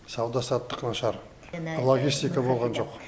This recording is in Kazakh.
сауда саттық нашар логистика болған жоқ